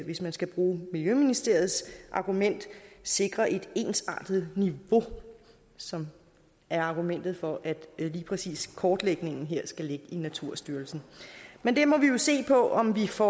hvis man skal bruge miljøministeriets argument sikrer et ensartet niveau som er argumentet for at lige præcis kortlægningen her skal ligge i naturstyrelsen men vi må jo se på om vi får